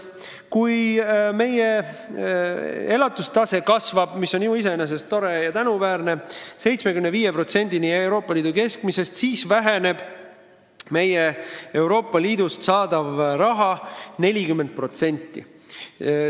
Kui meie elatustase tõuseb – see on ju iseenesest tore ja tänuväärne – 75%-ni Euroopa Liidu keskmisest, siis väheneb meie Euroopa Liidust saadav summa 40%.